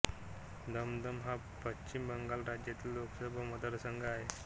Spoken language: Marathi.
दम दम हा पश्चिम बंगाल राज्यातील लोकसभा मतदारसंघ आहे